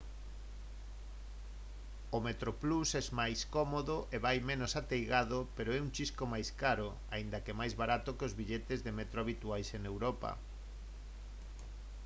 o metroplus é máis cómodo e vai menos ateigado pero é un chisco máis caro aínda que máis barato que os billetes de metro habituais en europa